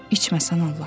İçmə sən Allah.